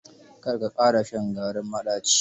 Kar ka ƙara shan garin maɗaci.